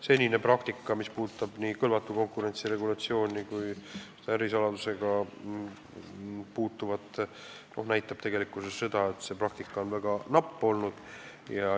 Senine praktika, mis puudutab nii kõlvatu konkurentsi regulatsiooni kui ka ärisaladusse puutuvat, on väga napp olnud.